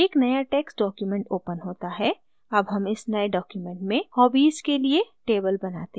एक नया text document opens होता है अब हम इस नये document में hobbies के लिए table बनाते हैं